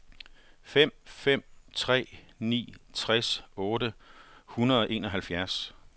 fem fem tre ni tres otte hundrede og enoghalvfjerds